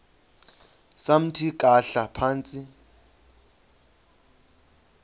samthi khahla phantsi